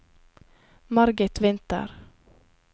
Margit Winther